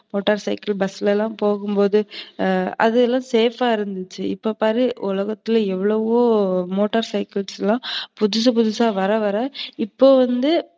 Motor cycle, bus ல எல்லாம் நம்ம போகும்போது அதெல்லாம் safe ஆ இருந்துச்சு. இப்ப பாரு உலகத்துல எவ்வளவோ மோட்டார் சைக்கிள் எல்லாம் புதுசு, புதுசா வர வர இப்ப வந்து